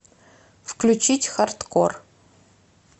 включить хардкор